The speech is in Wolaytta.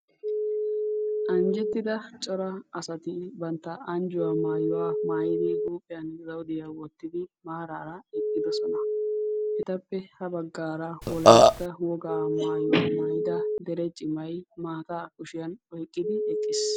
Anjettida cora asati bantta huuphiyan anjjuwa maayuwa mayidi bantta huuphiyan zawudiya wottidi maaraara eqqidosona.